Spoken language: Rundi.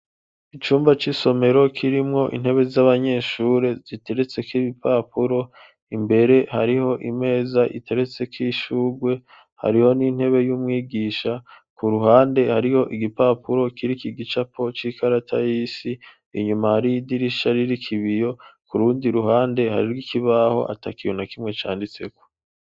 Icumba c'isomero kirimwo intebe z'abanyeshure ziteretse k'ibipapuro imbere hariho imeza iteretse ko ishugwe hariho n'intebe y'umwigisha ku ruhande hariho igipapuro kiri kigicapo c'ikarata y'isi inyuma hari idirisha riri kibiyo kurundi ruhande hari rwo ikibaho atakina kimwe canditseko.